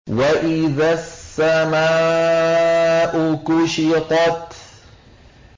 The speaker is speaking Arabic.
وَإِذَا السَّمَاءُ كُشِطَتْ